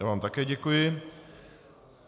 Já vám také děkuji.